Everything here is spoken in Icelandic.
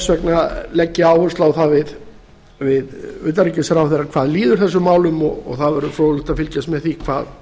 vegna legg ég áherslu á það við utanríkisráðherra hvað líður þessum málum og það verður fróðlegt að fylgjast með því